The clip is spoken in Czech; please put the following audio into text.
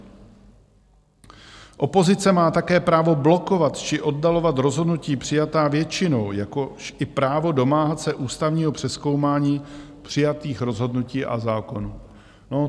Opozice má také právo blokovat či oddalovat rozhodnutí přijatá většinou, jakož i právo domáhat se ústavního přezkoumání přijatých rozhodnutí a zákonů.